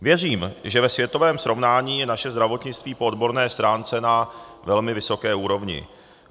Věřím, že ve světovém srovnání je naše zdravotnictví po odborné stránce na velmi vysoké úrovni.